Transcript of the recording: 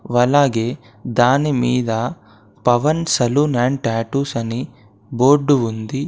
అలాగే దానిమీద Pavan saloon and tattoos అని బోర్డు ఉంది.